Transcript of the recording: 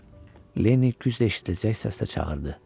Corc Lenni cürəştidirəcək səslə çağırdı.